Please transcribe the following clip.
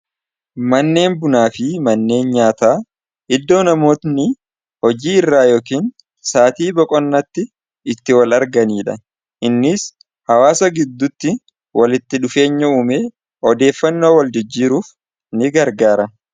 manneen bunaa fi manneen nyaata iddoo namootni hojii irraa yookiin saatii boqonnaatti itti wal arganiidha innis hawaasa gidduutti walitti dhufeenya uumee odeeffannoo wal jijjiiruuf ni gargaara